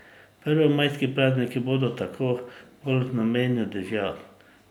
Prvomajski prazniki bodo tako bolj v znamenju dežja.